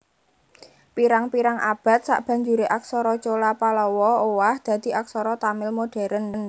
Pirang pirang abad sabanjuré aksara Chola Pallawa owah dadi aksara Tamil modhèren